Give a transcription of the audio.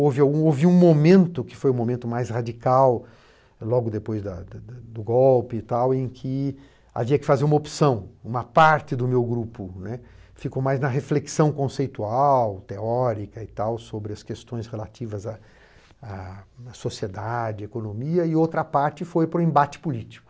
Houve um momento, que foi o momento mais radical, logo depois da da do golpe e tal, em que havia que fazer uma opção, uma parte do meu grupo, né, ficou mais na reflexão conceitual, teórica e tal, sobre as questões relativas à à à sociedade, à economia, e outra parte foi para o embate político.